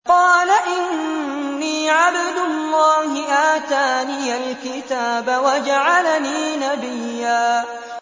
قَالَ إِنِّي عَبْدُ اللَّهِ آتَانِيَ الْكِتَابَ وَجَعَلَنِي نَبِيًّا